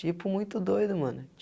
Tipo, muito doido, mano.